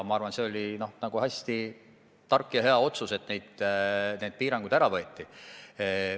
Ma arvan, et see oli hästi tark ja hea otsus, et neid piiranguid ära võeti.